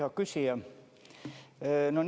Hea küsija!